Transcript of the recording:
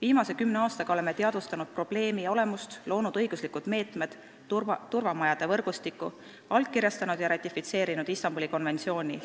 Viimase kümne aastaga oleme teadvustanud probleemi olemust, loonud õiguslikud meetmed, turvamajade võrgustiku, allkirjastanud ja ratifitseerinud Istanbuli konventsiooni,